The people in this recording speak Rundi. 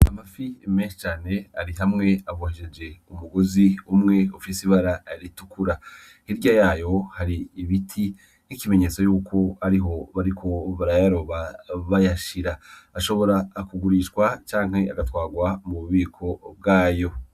Amafi menshe cane ari hamwe abohesheje umugozi umwe ofisi ibara aritukura hirya yayo hari ibiti n'ikimenyetso yuko ari ho bariko barayaroba bayashira ashobora akugurishwa canke agatwarwa mu bubiko bwayo.